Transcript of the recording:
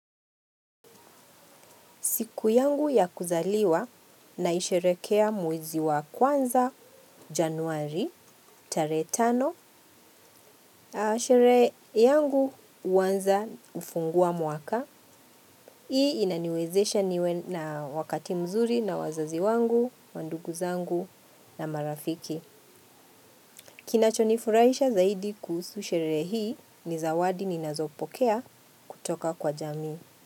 Siku yangu ya kuzaliwa naisherehekea mwezi wa kwanza Januari, tarehe tano. Sherehe yangu huanza kufungua mwaka. Hii inaniwezesha niwe na wakati mzuri na wazazi wangu, mandugu zangu na marafiki. Kinachonifurahisha zaidi kuhusu sherehe hii ni zawadi ninazopokea kutoka kwa jamii.